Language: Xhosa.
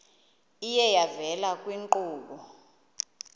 iye yavela kwiinkqubo